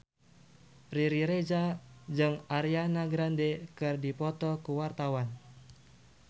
Riri Reza jeung Ariana Grande keur dipoto ku wartawan